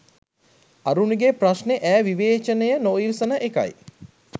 අරුණිගෙ ප්‍රශ්ණෙ ඈ විවේචනය නොඉවසන එකයි